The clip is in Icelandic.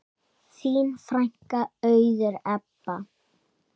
Þín frænka, Auður Ebba.